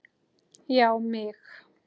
Já mig!